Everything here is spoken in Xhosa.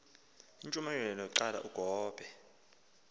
intshumayelo qala ugobe